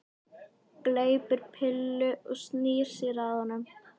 Gleypir pillu og snýr sér að honum.